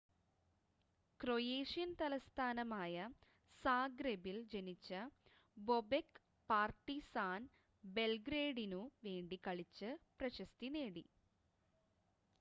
Croatian തലസ്ഥാനമായ സാഗ്രെബിൽ ജനിച്ച ബൊബെക് പാർട്ടിസാൻ ബെൽഗ്രേഡിനു വേണ്ടി കളിച്ച് പ്രശസ്തി നേടി